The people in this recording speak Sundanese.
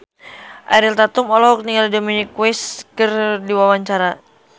Ariel Tatum olohok ningali Dominic West keur diwawancara